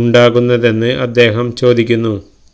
ഉണ്ടാകുന്നതെന്ന് അദ്ദേഹം ചോദിക്കുന്നു